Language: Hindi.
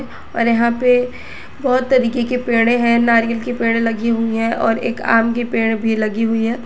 और यहां पे बहोत तरीके के पेड़े है नारियल के पेड़ लगी हुई है और एक आम के पेड़ भी लगी हुई है।